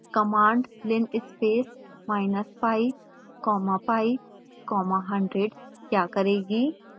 3 command linspaceminus pi comma pi comma 100 क्या करेगी